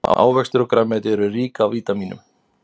Ávextir og grænmeti eru rík af vítamínum.